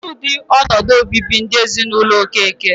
Kedụ ụdị ọnọdụ o bibi ndụ n'ezinụlọ Okeke?